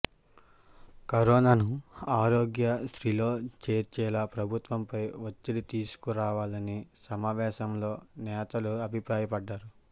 కరోనాను ఆరోగ్య శ్రీలో చేర్చేలా ప్రభుత్వంపై ఒత్తిడి తీసుకురావాలని సమావేశంలో నేతలు అభిప్రాయపడ్డారు